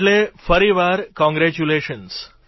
એટલી ફરીવાર કોંગ્રેચ્યુલેશન